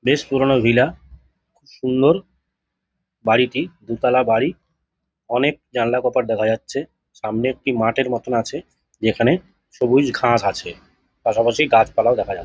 বেশ পুরোনো ভিলা সুন্দর বাড়িটি দুতালা বাড়ি। অনেক জানলা কপাট দেখা যাচ্ছে। সামনে একটি মাঠের মতো আছে যেখানে সবুজ ঘাস আছে। পাশাপাশি গাছপালাও দেখা যাচ --